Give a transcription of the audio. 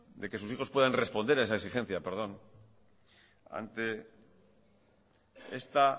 de que sus hijos puedan responder a esa exigencia perdón ante esta